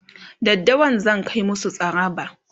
daddawa zan Kai musu tsaraba